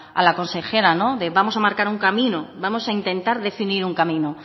a la consejera de vamos a marcar un camino vamos a intentar definir un camino